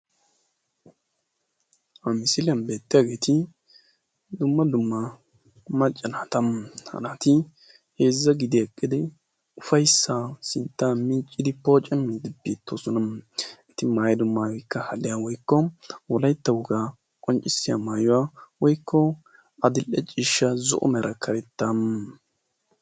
Ha misiliyaan beettiyaageti dumma dumma macca naata. ha macca naati heezza gidi eqqidi ufayssaa sinttan miccidi poocammiidi biiddi beettoosona. eti maayido maayoykka hadiyaa woykko wolatta wogaa qonccisiyaa maayuwaa woykko adile ciishsha zo'o meraa karettaa.